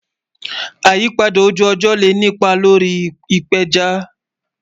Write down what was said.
Ìyípadà ojú-ọjọ le ni ìpà lórí ìpéjá.